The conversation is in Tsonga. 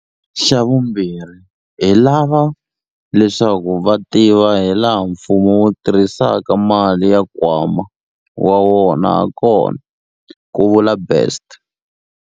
Xavumbirhi, hi lava leswaku vaaki va tiva hilaha mfumo wu tirhisaka mali ya nkwama wa wona hakona, ku vula Best.